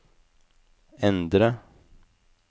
endre